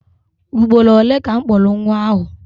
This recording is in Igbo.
Ugboro ole ka m kpọrọ nwa ahụ?